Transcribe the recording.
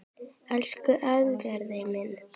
Elsku Eðvarð minn.